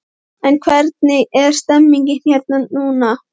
En hvernig er stemmningin hér núna?